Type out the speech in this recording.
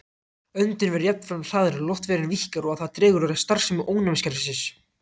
Öndun verður jafnframt hraðari, loftvegurinn víkkar og það dregur úr starfsemi ónæmiskerfisins.